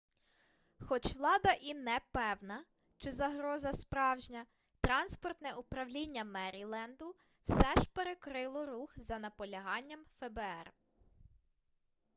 хоч влада і не певна чи загроза справжня транспортне управління меріленду все ж перекрило рух за наполяганням фбр